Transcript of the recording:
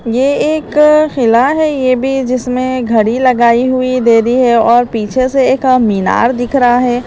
ये एक किला है ये भी जिसमें घड़ी लगाई हुई दे रही है और पीछे से एक मीनार दिख रहा है।